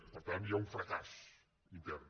per tant hi ha un fracàs intern